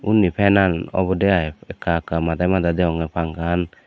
undi fenan obodey ai ekka ekka mada mada degongey panka gan.